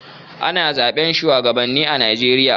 Ana zaɓe shuwagabanni a Najeriya.